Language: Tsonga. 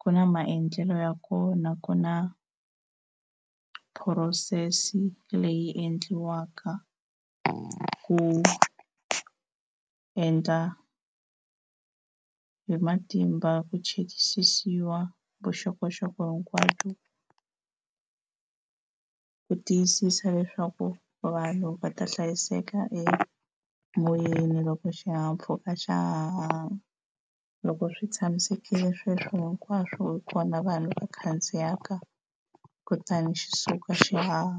ku na maendlelo ya kona ku na process leyi endliwaka ku endla hi matimba ku chekisisiwa vuxokoxoko hinkwabyo ku tiyisisa leswaku vanhu va ta hlayiseka emoyeni loko xihahampfhuka xa ha haha. Loko swi tshamisekile sweswo hinkwaswo hi kona vanhu va khandziyaka kutani xi suka xi haha.